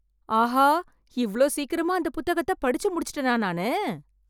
ஆஹா, இவ்வளவு சீக்கிரமா அந்த புத்தகத்தை படிச்சு முடிச்சிட்டனா நானு